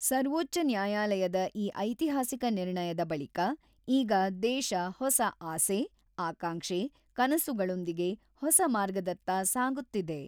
ಸರ್ವೋಚ್ಚ ನ್ಯಾಯಾಲಯದ ಈ ಐತಿಹಾಸಿಕ ನಿರ್ಣಯದ ಬಳಿಕ ಈಗ ದೇಶ ಹೊಸ ಆಸೆ, ಆಕಾಂಕ್ಷೆ, ಕನಸುಗಳೊಂದಿಗೆ ಹೊಸ ಮಾರ್ಗದತ್ತ ಸಾಗುತ್ತಿದೆ.